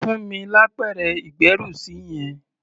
Fún mi lápẹ̀rẹ̀ ìgbẹ́rùsí yẹn!